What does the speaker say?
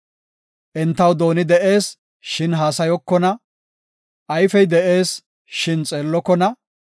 Entaw dooni de7ees, shin haasayokona; ayfey de7ees, shin xeellokona.